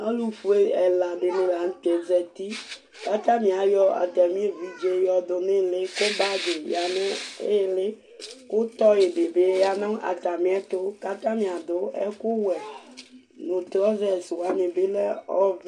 Ɔlufue ɛla di ni la n'tɛ zati, katani ameaayɔ evidze yiɔdu n'ili, ku bagi ya nu ĩli, ku toy di bi Ya nu atanu awɔ